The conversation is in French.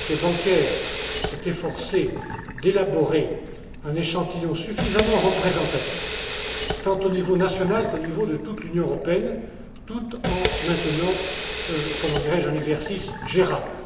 L'Autorité bancaire s'est efforcée d'élaborer un échantillon suffisamment représentatif, tant au niveau national qu'au niveau de toute l'Union européenne, tout en maintenant un exercice gérable.